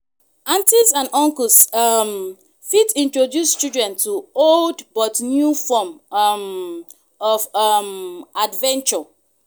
aunties and uncles um fit introduce childern to old but new form um of um adventure